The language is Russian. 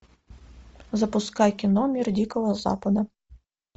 запускай кино мир дикого запада